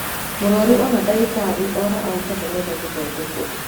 Mũrwarũ ona dagĩtarĩ ora auga ndarenda gũthondekwo